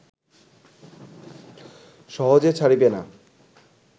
সহজে ছাড়িবে না